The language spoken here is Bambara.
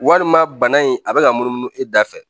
Walima bana in a bɛ ka munumunu e da fɛ